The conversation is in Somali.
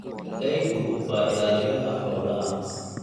Eygu waa ilaaliyaha xoolaha.